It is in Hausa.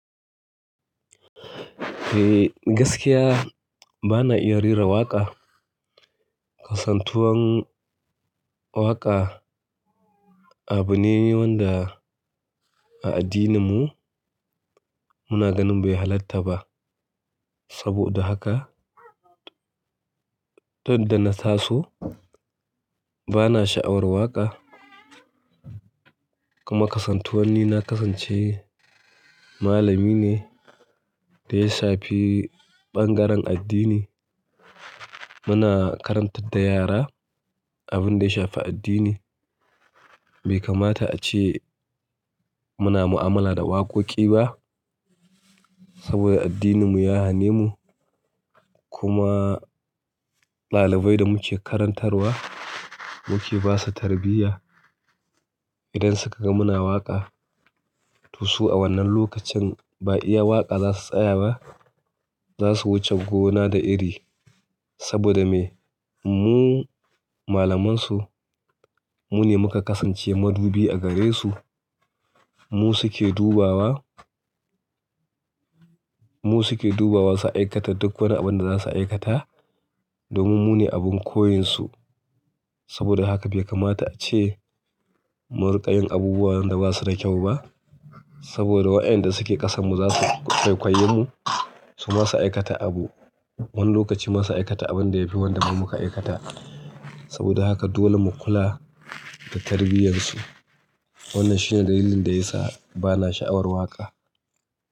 Eh, gaskiya bana iya rera waƙa. Kasantuwar waƙa abu ne wanda a addininmu muna ganin bai halatta ba. Saboda haka, tun da na taso bana sha'awar waƙa. Kuma kasantuwan ni na kasance malami ne da ya shafi ɓangaren addini. Muna karantar da yara abin da ya shafi addini. Bai kamata ace muna mu'amala da waƙoƙi ba saboda addininmu ya hane mu. Kuma ɗalibai da muke karantarwa muke basu tarbiyya. Idan suka ga muna waƙa, to su a wannan lokacin ba iya waƙa za su tsaya ba, za su wuce gona da iri. Saboda me? Mu malamansu, mu ne muka kasance madubi a gare su. Mu su ke dubawa, mu su ke dubawa su aikata duk wani abin da za su aikata domin mu ne abin koyinsu. Saboda haka bai kamata ace mu riƙa yin abubuwan da ba su da kyau ba saboda wa'yan da suke ƙasanmu za su kwaikwayen mu su masu aikata abu. Wani lokaci masu aikata abin da yafi wanda mun muka aikata. Saboda haka dole mu kula da tarbiyyar su. Wannan shi ne dalilin da yasa bana sha'awar waƙa.